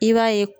I b'a ye